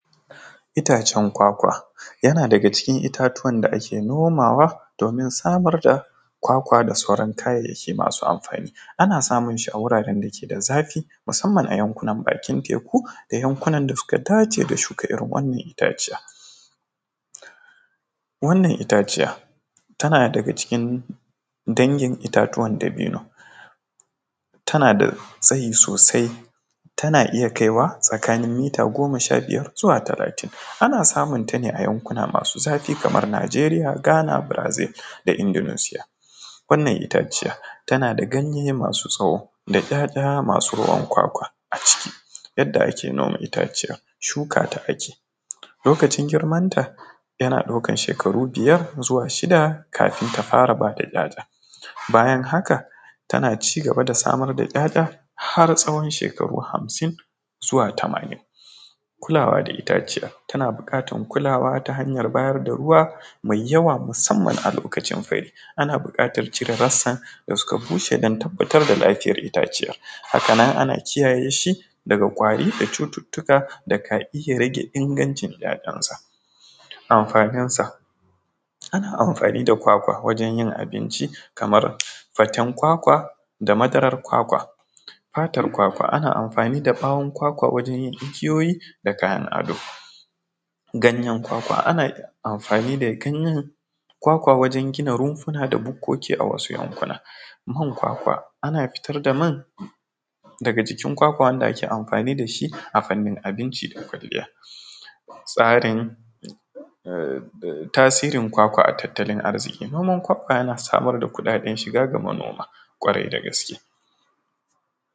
Itacen kwakwa yana daga cikin itatuwan da ake nomawa domin samar da kwakwa da sauran kayayyaki masu amfani ana samun shi wuraren da ke da zafi musamman a yankuna nan dake da bakin teku da yankunan da suka dace da shuka, irin wannan itaciya wannan itaciya tana daga cikin dangin itatuwa dabino tana da tsayi sosai tana iya kaiwa tsakanin mita goma sha biyar zuwa talatin ana samun tane a yankuna masu zafi kamar Nijeriya, Ghana Brazil da Indonesia wannan itaciya tana da ganye masu tsawo da ‘ya’ya masu ruwan kwakwa, yadda ake noma itaciyar shuka ta ake lokacin girmanta yana ɗaukan shekaru biyar zuwa shida kafin ta fara ba da ‘ya’ya, bayan haka tana cigaba da samar ‘ya’ya har tsawon shekaru hamsin zuwa tamanin, kulawa da itaciyar tana bukatar kulawa ta hanyar da ruwa mai yawa musamman a lokacin fure, ana bukatar cire rasan da suka bushe don tabbatar da lafiyar itaciyar haka nan ana kiyaye shi daga ƙwari da cututtuka da ka iya rage ingancin ‘ya’yansa amfaninsa, ana amfani da kwakwa wajen yin abinci kamar fatan kwakwa da madarar kwakwa fatar kwakwa ana amfanin da bawon kwakwa wajen yin igiyoyi da kayan ado, ganyen kwakwa ana amfani da ganyen kwakwa wajen gine rumfuna da bukoki a wasu yankuna man kwakwa ana fitar da man daga jikin kwakwa wanda ake amfani da shi a fannin abinci da kwaliya tsarin tasirin kwakwa a tattalin arziƙi noman kwakwa yana samar da kuɗaɗe shiga ga manoma ƙwarai da gaske.